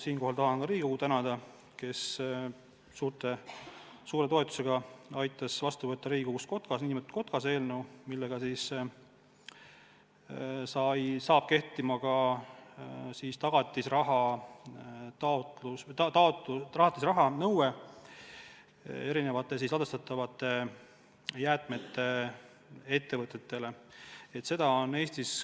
Siinkohal tahan ka tänada Riigikogu, kes suure toetusega võttis vastu nn KOTKAS-e eelnõu, tänu millele saab kehtima tagatisrahanõue ettevõtetele, kes tegelevad ladestatavate jäätmetega.